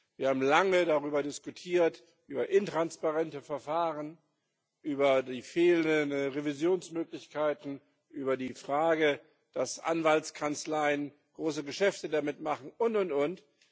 Wir haben lange diskutiert über intransparente Verfahren, über die fehlenden Revisionsmöglichkeiten, über die Frage, dass Anwaltskanzleien große Geschäfte damit machen, und, und, und.